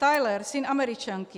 Tyler, syn Američanky.